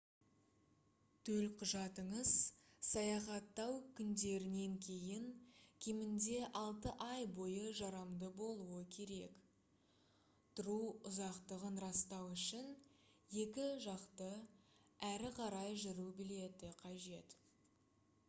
төлқұжатыңыз саяхаттау күндерінен кейін кемінде 6 ай бойы жарамды болуы керек. тұру ұзақтығын растау үшін екі жақты/әрі қарай жүру билеті қажет